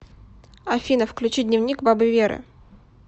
афина включи дневник бабы веры